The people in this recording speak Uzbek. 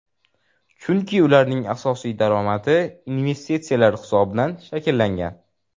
Chunki ularning asosiy daromadi investitsiyalar hisobidan shakllangan.